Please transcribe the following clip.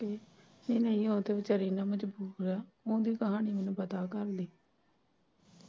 ਨਹੀਂ ਉਹ ਤੇ ਵਿਚਾਰੀ ਨਾ ਮਜਬੂਰ ਐ, ਓਦੀ ਕਹਾਣੀ ਮੈਨੂੰ ਪਤਾ ਘਰ ਦੀ।